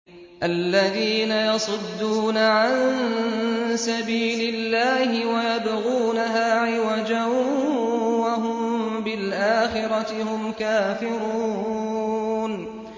الَّذِينَ يَصُدُّونَ عَن سَبِيلِ اللَّهِ وَيَبْغُونَهَا عِوَجًا وَهُم بِالْآخِرَةِ هُمْ كَافِرُونَ